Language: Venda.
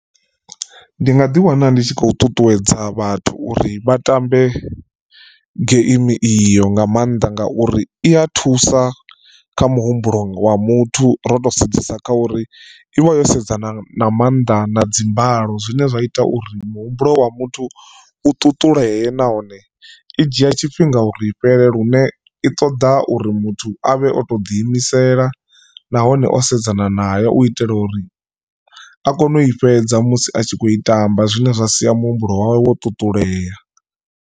Ndi nga ḓi wana ndi tshi khou ṱuṱuwedza vhathu uri vha tambe geimi iyo nga maanḓa ngauri i ya thusa kha muhumbulo wa muthu ro to sedzesa kha uri i vha yo sedzana na maanḓa na dzi mbalo zwine zwa ita uri muhumbulo wa muthu u ṱuṱulee nahone i dzhia tshifhinga uri i fhele lune i ṱoḓa uri muthu avhe o to ḓi imisela nahone o sedzana nayo u itela uri a kone u i fhedza musi atshi kho i tamba zwine zwa sia muhumbulo wawe wo ṱuṱulea.